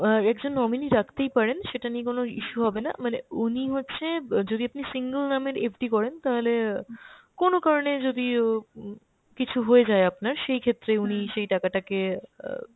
অ্যাঁ একজন nominee রাখতেই পারেন, সেটা নিয়ে কোনো issue হবে না, মানে উনি হচ্ছে ব যদি আপনি single নামের FD করেন তাহলে অ্যাঁ কোনো কারণে যদি ও উম কিছু হয়ে যায় আপনার সেই ক্ষেত্রেই উনি সেই টাকাটাকে অ্যাঁ